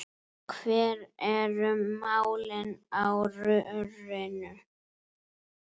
Hver eru málin á rörinu?